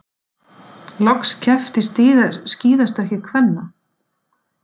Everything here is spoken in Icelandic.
Loks keppt í skíðastökki kvenna